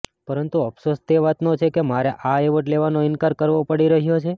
પરંતુ અફસોસ તે વાતનો છે કે મારે આ એવોર્ડ લેવાનો ઇન્કાર કરવો પડી રહ્યો છે